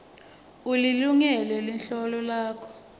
ulilungele luhlolo lwakho